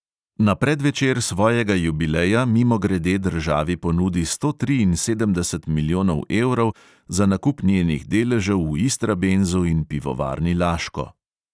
Na predvečer svojega jubileja mimogrede državi ponudi sto triinsedemdeset milijonov evrov za nakup njenih deležev v istrabenzu in pivovarni laško.